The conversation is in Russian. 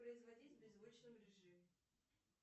производить в беззвучном режиме